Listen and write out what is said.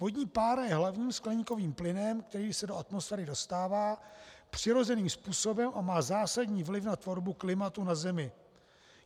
Vodní pára je hlavním skleníkovým plynem, který se do atmosféry dostává přirozeným způsobem a má zásadní vliv na tvorbu klimatu na zemi.